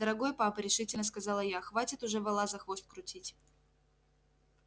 дорогой папа решительно сказала я хватит уже вола за хвост крутить